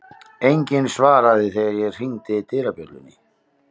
Enginn svaraði þegar ég hringdi dyrabjöllunni.